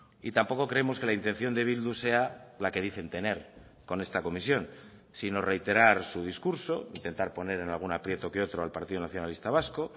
y tampoco creemos que la intención de bildu sea la que dicen tener con esta comisión sino reiterar su discurso intentar poner en algún aprieto que otro al partido nacionalista vasco